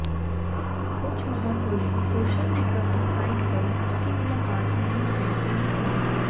कुछ माह पूर्व सोशल नेटवर्किंग साइट पर उसकी मुलाकात मीनू से हुई थी